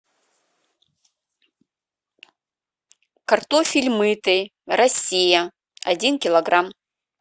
картофель мытый россия один килограмм